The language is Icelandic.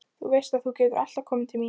Þú veist að þú getur alltaf komið til mín.